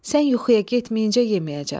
Sən yuxuya getməyincə yeməyəcəm.